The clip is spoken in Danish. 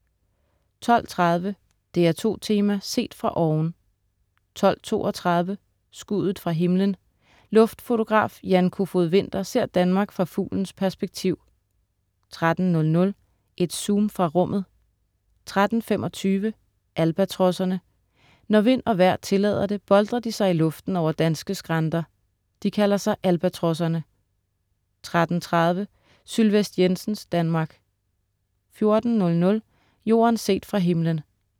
12.30 DR2 Tema: Set fra oven 12.32 Skuddet fra himlen. Luftfotograf Jan Kofod Winther ser Danmark fra fuglens perspektiv 13.00 Et zoom fra rummet 13.25 Albatrosserne. Når vind og vejr tillader det, boltrer de sig i luften over danske skrænter. De kalder sig Albatrosserne 13.30 Sylvest Jensens Danmark 14.00 Jorden set fra himmelen